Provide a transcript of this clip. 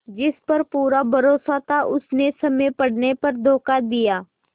जिस पर पूरा भरोसा था उसने समय पड़ने पर धोखा दिया